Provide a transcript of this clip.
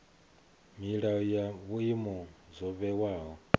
milayo na vhuimo zwo vhewaho